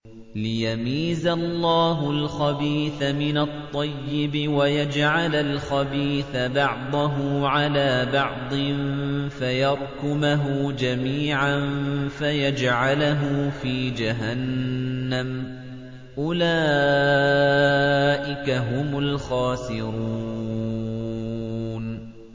لِيَمِيزَ اللَّهُ الْخَبِيثَ مِنَ الطَّيِّبِ وَيَجْعَلَ الْخَبِيثَ بَعْضَهُ عَلَىٰ بَعْضٍ فَيَرْكُمَهُ جَمِيعًا فَيَجْعَلَهُ فِي جَهَنَّمَ ۚ أُولَٰئِكَ هُمُ الْخَاسِرُونَ